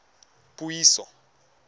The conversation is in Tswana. puiso